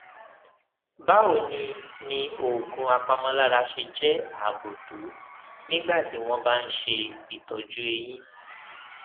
báwo ni ni oògùn apàmòlára ṣe jé ààbò tó nígbà tí wón bá ń ṣe ìtójú eyín